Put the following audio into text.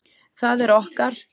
Það er okkar.